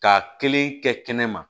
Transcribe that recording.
K'a kelen kɛ kɛnɛ ma